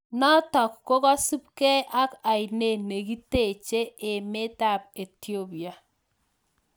Notok kokosupkei ak Ainet nekitechee emeet ap etiopia